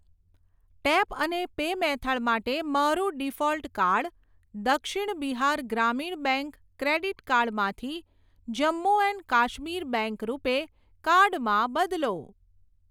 Tap અને pay method માટે મારું default card Dakshin Bihar Gramin bank credit card માંથી Jammu and Kashmir bank RuPay card માં બદલો.